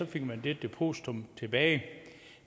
fik man det depositum tilbage